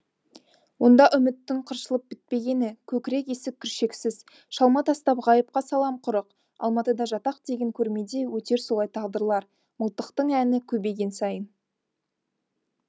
онда үміттің қыршылып бітпегені көкірек есік күршексіз шалма тастап ғайыпқа салам құрық алматыда жатақ деген көрмеде өтер солай тағдырлар мылтықтың әні көбейген сайын